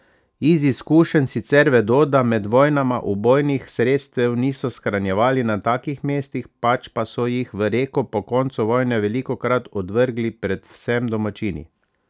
Iz izkušenj sicer vedo, da med vojnama ubojnih sredstev niso shranjevali na takih mestih, pač pa so jih v reko po koncu vojne velikokrat odvrgli predvsem domačini.